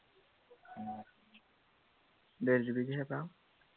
ডেৰ GB হে পাওঁ